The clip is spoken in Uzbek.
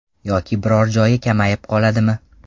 Yoki biror joyi kamayib qoladimi?